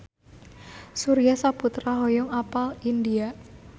Surya Saputra hoyong apal India